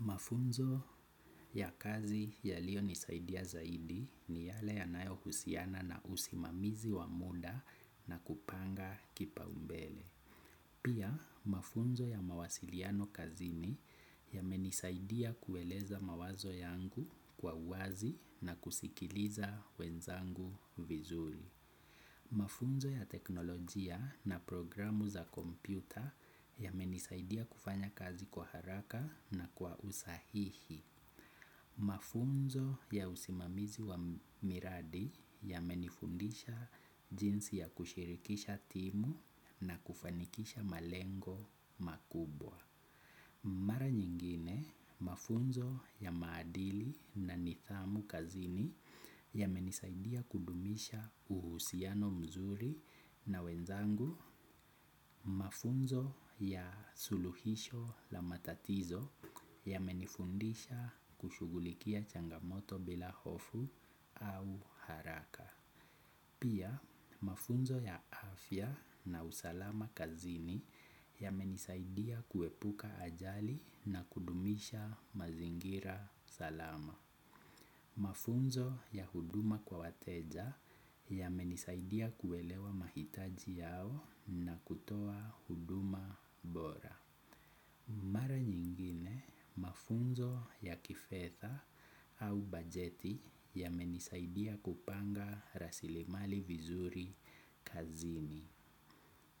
Mafunzo ya kazi yaliyo nisaidia zaidi ni yale yanayohusiana na usimamizi wa muda na kupanga kipaumbele. Pia mafunzo ya mawasiliano kazini ya menisaidia kueleza mawazo yangu kwa wazi na kusikiliza wenzangu vizuri. Mafunzo ya teknolojia na programu za kompyuta yamenisaidia kufanya kazi kwa haraka na kwa usahihi. Mafunzo ya usimamizi wa miradi yamenifundisha jinsi ya kushirikisha timu na kufanikisha malengo makubwa. Mara nyingine, mafunzo ya maadili na nidhamu kazini yamenisaidia kudumisha uhusiano mzuri na wenzangu. Mafunzo ya suluhisho la matatizo yamenifundisha kushughulikia changamoto bila hofu au haraka. Pia mafunzo ya afya na usalama kazini yamenisaidia kuepuka ajali na kudumisha mazingira salama. Mafunzo ya huduma kwa wateja yamenisaidia kuelewa mahitaji yao na kutoa huduma bora. Mara nyingine, mafunzo ya kifedha au bajeti yamenisaidia kupanga rasilimali vizuri kazini.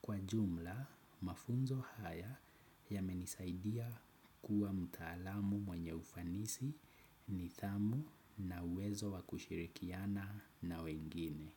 Kwa jumla, mafunzo haya yamenisaidia kuwa mtaalamu mwenye ufanisi nidhamu na uwezo wa kushirikiana na wengine.